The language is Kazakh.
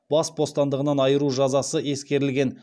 бас бостандығынан айыру жазасы ескерілген